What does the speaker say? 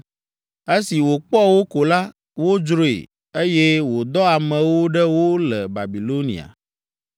Esi wòkpɔ wo ko la, wodzroe, eye wòdɔ amewo ɖe wo le Babilonia.